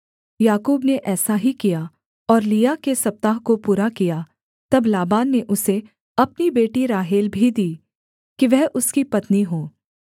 याकूब ने ऐसा ही किया और लिआ के सप्ताह को पूरा किया तब लाबान ने उसे अपनी बेटी राहेल भी दी कि वह उसकी पत्नी हो